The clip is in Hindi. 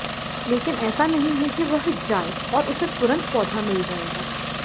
लेकिन ऐसा नहीं है कि वह जाए और उसे तुरंत पौधा मिल जाएगा